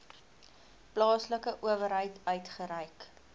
plaaslike owerheid uitgereik